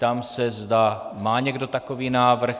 Ptám se, zda má někdo takový návrh.